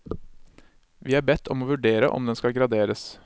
Vi er bedt om å vurdere om den skal graderes.